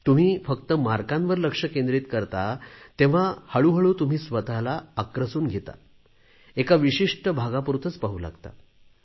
तुम्ही फक्त गुणांवर लक्ष केंद्रित करता तेव्हा हळूहळू तुम्ही स्वतला आक्रसून घेता एका विशिष्ट भागापुरतेच पाहू लागता